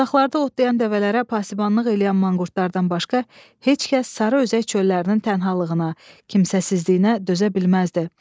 Uzaqlarda otlayan dəvələrə pasibanlıq eləyən manqurtlardan başqa heç kəs sarı özək çöllərinin tənhalığına, kimsəsizliyinə dözə bilməzdi.